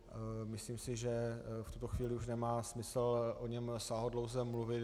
Myslím si, že v tuto chvíli už nemá smysl o něm sáhodlouze mluvit.